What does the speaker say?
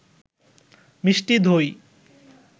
মিষ্টি দই